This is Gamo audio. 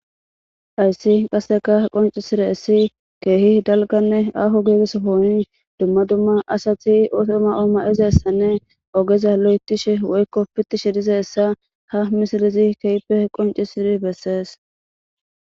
Hayis qaseka qoncises kehi daaliganee aho gida sohon duma duma asati oso mayo mayidaysanee ogeza loyithishe woyiko pitishe dizayisa ha misilezi kehipe qonicises beses